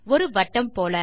ஒரு வட்டம் போல்